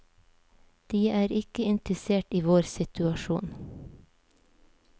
De er ikke interessert i vår situasjon.